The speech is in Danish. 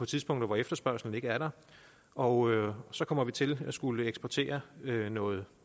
tidspunkter hvor efterspørgslen ikke er der og så kommer vi til at skulle eksportere noget